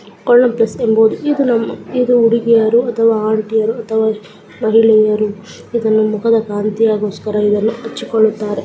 ಇದು ನಮ್ಮ ಇದು ಹುಡುಗಿಯರು ಅಥವಾ ಆಂಟಿಯರು ಅಥವಾ ಮಹಿಳೆಯರು ಇದನ್ನು ಮುಖದ ಕಾಂತೀಯ ಗೋಸ್ಕರ ಇದನ್ನು ಹಚ್ಚಿಗೊಳುತ್ತಾರೆ. .